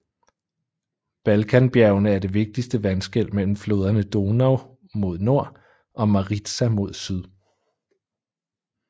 Balkanbjergene er det vigtigste vandskel mellem floderne Donau mod nord og Maritsa mod syd